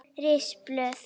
Ris blöðru